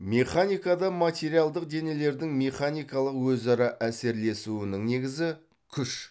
механикада материалдық денелердің механикалық өзара әсерлесуінің негізі күш